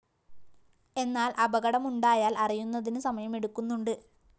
എന്നാല്‍ അപകടമുണ്ടായാല്‍ അറിയുന്നതിന്‌ സമയമെടുക്കുന്നുണ്ട്‌